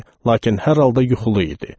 Lakin hər halda yuxulu idi.